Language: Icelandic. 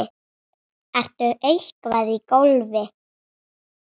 Ertu eitthvað í golfinu?